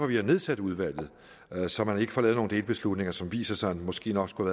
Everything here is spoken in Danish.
vi har nedsat udvalget så man ikke får lavet nogen delbeslutninger som viser sig måske nok skulle